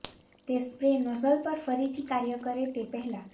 તે spray nozzle પર ફરીથી કાર્ય કરે તે પહેલાં